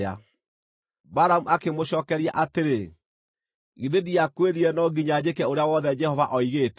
Balamu akĩmũcookeria atĩrĩ, “Githĩ ndiakwĩrire no nginya njĩke ũrĩa wothe Jehova oigĩte?”